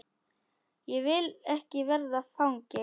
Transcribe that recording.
Ég vil ekki verða fangi.